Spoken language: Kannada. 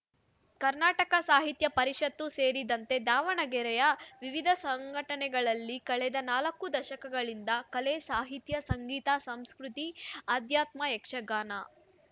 ಕನ್ನಡ ಸಾಹಿತ್ಯ ಪರಿಷತ್ ಸೇರಿದಂತೆ ದಾವಣಗೆರೆಯ ವಿವಿಧ ಸಂಘಟನೆಗಳಲ್ಲಿ ಕಳೆದ ನಾಲ್ಕು ದಶಕಗಳಿಂದ ಕಲೆ ಸಾಹಿತ್ಯ ಸಂಗೀತ ಸಂಸ್ಕೃತಿ ಆಧ್ಯಾತ್ಮ ಯಕ್ಷಗಾನ